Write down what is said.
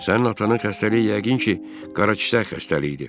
Sənin atanın xəstəliyi yəqin ki, qaraçiyər xəstəliyidir.